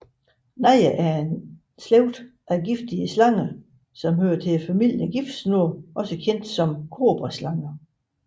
Naja er en slægt af giftige slanger tilhørende familien giftsnoge kendt som kobraslager